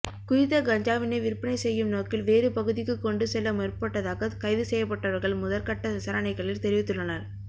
குறித்த கஞ்சாவினை விற்பனை செய்யும்நோக்கில் வேறு பகுதிக்கு கொண்டு செல்ல முற்பட்டதாக கைது செய்யப்பட்டவர்கள் முதற்கட்ட விசாரணைகளில் தெரிவித்துள்ளனர்